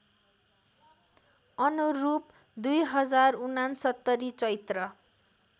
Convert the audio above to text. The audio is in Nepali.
अनुरूप २०६९ चैत्र